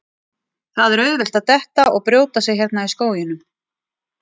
Það er auðvelt að detta og brjóta sig hérna í skóginum